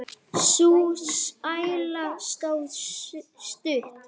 Sú sæla stóð stutt.